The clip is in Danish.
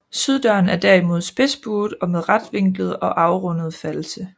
Syddøren er derimod spidsbuet og med retvinklede og afrundede false